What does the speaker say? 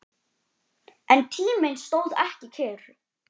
En tíminn stóð ekki kyrr.